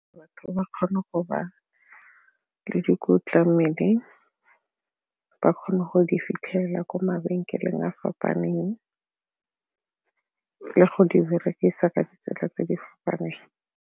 Batho ba ba kgone go ba le dikotla mmeleng, ba kgone go di fitlhelela ko mabenkeleng a fapaneng go di berekisa ka ditsela tse di fapaneng.